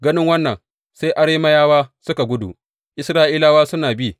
Ganin wannan, sai Arameyawa suka gudu, Isra’ilawa suna bi.